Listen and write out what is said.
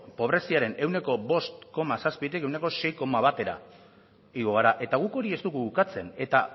pobreziaren ehuneko bost koma zazpitik ehuneko sei koma batera igo gara eta guk hori ez dugu ukatzen eta